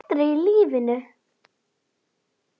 Aldrei í lífinu.